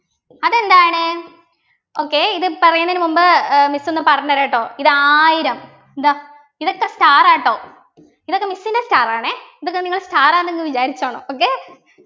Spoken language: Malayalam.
അതെന്താണ് okay ഇത് പറയുന്നതിന് മുമ്പ് ഏർ miss ഒന്ന് പറഞ്ഞുതരാട്ടോ ഇതായിരം ഇതാ ഇതൊക്കെ star ആ ട്ടോ ഇതൊക്കെ miss ൻ്റെ star ആണേ ഇതൊക്ക നിങ്ങള് star ആന്നങ് വിചാരിച്ചോണം okay